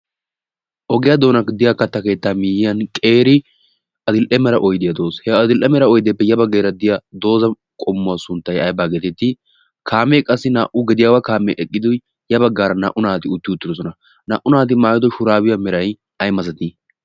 ogiyaa doonan diyaa katta keettaa miiyyiyan qeeri adil'e mera oidiyaa doos. he adil'e mera oydeeppe yabaggeera diya dooza qommuwaa sunttai ai baa geetettii kaamee qassi naa"u gediyaawaa kaamee eqqido ya baggaara naa"u naati utti uttidosona naa"u naati maayodo shuraabiya merayyai masatii?